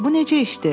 Bu necə işdir?